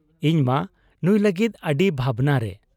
ᱤᱧᱢᱟ ᱱᱩᱸᱭ ᱞᱟᱹᱜᱤᱫ ᱟᱹᱰᱤ ᱵᱷᱟᱵᱽᱱᱟᱨᱮ ᱾